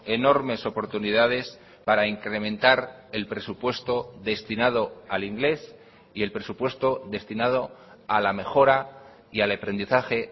enormes oportunidades para incrementar el presupuesto destinado al inglés y el presupuesto destinado a la mejora y al aprendizaje